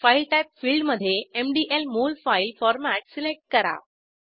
file type फिल्डमधे MDL molfile format select करा